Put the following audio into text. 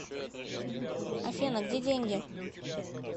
афина где деньги